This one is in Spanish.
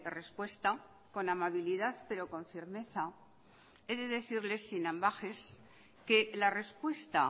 respuesta con amabilidad pero con firmeza he de decirle sin ambages que la respuesta